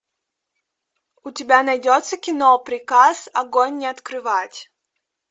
у тебя найдется кино приказ огонь не открывать